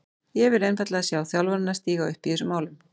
Ég vil einfaldlega sjá þjálfarana stíga upp í þessum málum.